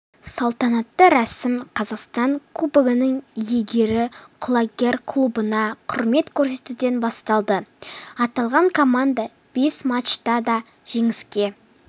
салтанатты рәсім қазақстан кубогының иегері құлагер клубына құрмет көрсетуден басталды аталған команда бес матчта да жеңіске